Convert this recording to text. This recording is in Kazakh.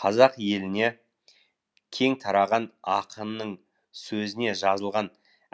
қазақ еліне кең тараған ақынның сөзіне жазылған